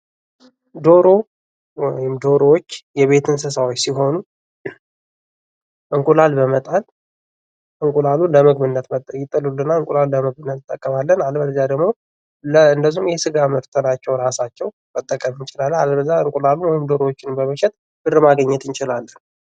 ዶሮ ወይም ዶሮች የቤት እንስሳዎች ሲሆኑ እንቁላል በመጣል ዕንቁላሉን ለምግብነት እንጠቀማለን። አለበለዚያ ደግሞ የስጋ ምርት ናቸው እራሳቸው። አለበለዚያ ዕንቁላሉን ወይም ዶሮወችን በመሸጥ ብር ማግኘት እንችላለን።